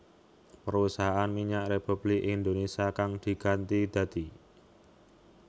Perusahaan Minyak Republik Indonésia kang diganti dadi